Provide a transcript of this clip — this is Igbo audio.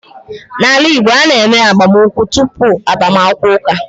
N’ala Igbo, a na-eme agbamụnkwụ tupu agbaakwukwọ ụka.